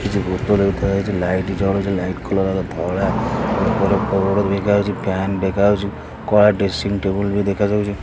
କିଛି ବୋତଲ ବି ଥୁଆ ହେଇଚି ଲାଇଟ୍ ଜଳୁଚି ଲାଇଟ୍ କଲର୍ ର ହେଲା ଧଳା ଉପର ବୋଡ଼୍ ବିକା ହଉଚି ଫ୍ୟାନ ଦେଖାହଉଚି କଳା ଡ୍ରେସିଂ ଟେବୁଲ ବି ଦେଖାଯାଉଚି।